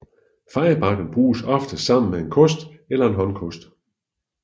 Fejebakken bruges oftest sammen med en kost eller håndkost